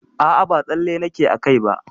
A'a ba tsalle nake a kai ba.